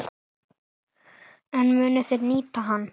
En munu þeir nýta hann?